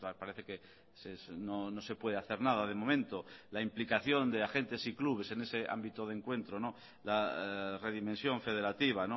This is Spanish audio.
parece que no se puede hacer nada de momento la implicación de agentes y clubes en ese ámbito de encuentro la redimensión federativa